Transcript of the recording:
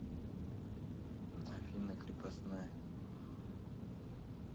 афина крепостная